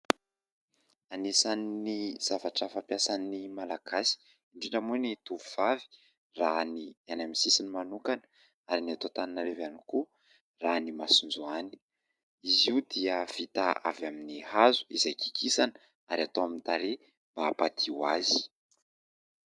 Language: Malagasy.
Anisan'ny zavatra fampiasan'ny Malagasy indrindra moa ny tovovavy raha ny any amin'ny sisiny manokana na ny eto Antaninarivo ihany koa raha ny " masonjoany ". Izy io dia vita avy amin'ny hazo izay kikisana ary atao amin'ny tarehy mba hampadio azy